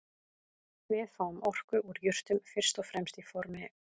Við fáum orku úr jurtum fyrst og fremst í formi